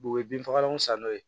u ye bin fagalan san n'o ye